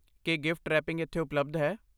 ਕੀ gift wrapping ਇੱਥੇ ਉਪਲਬਧ ਹੈ?